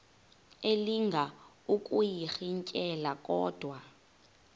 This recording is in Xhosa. elinga ukuyirintyela kodwa